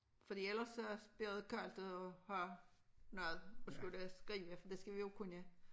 Fordi ellers så bliver der koldt at have noget at skulle skrive for det skal vi jo kunne